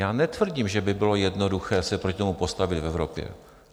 Já netvrdím, že by bylo jednoduché se proti tomu postavit v Evropě.